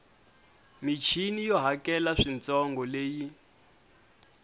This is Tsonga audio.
michini yo hakela swintsongo leyi